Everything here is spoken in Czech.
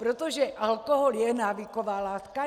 Protože alkohol je návyková látka?